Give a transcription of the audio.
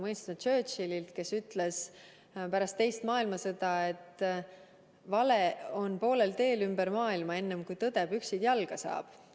See on Winston Churchillilt, kes ütles pärast teist maailmasõda, et vale on poolel teel ümber maailma, enne kui tõde püksid jalga saab.